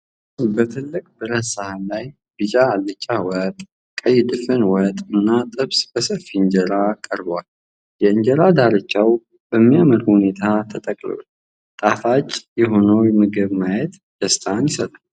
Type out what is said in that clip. በትልቁ ብረት ሰሃን ላይ ቢጫ አልጫ ወጥ፣ ቀይ ድፍን ወጥና ጥብስ በሰፊ እንጀራ ተቀርበዋል። የእንጀራ ዳርቻዎች በሚያምር ሁኔታ ተጠቅልለዋል። ጣፋጭ የሆነውን ምግብ ማየት ደስታን ይሰጣል።